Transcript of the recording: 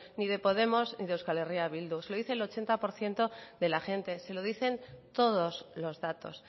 ni de podemos ni de eh bildu se lo dice el ochenta por ciento de la gente se lo dicen todos los datos